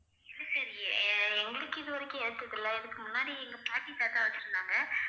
இது தெரியலயே எங்களுக்கு இதுவரைக்கும் எடுத்ததில்லை இதுக்கு முன்னாடி எங்க பாட்டி, தாத்தா வச்சிருந்தாங்க